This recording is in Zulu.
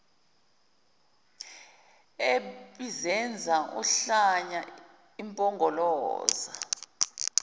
ebizenza uhlanya impongoloza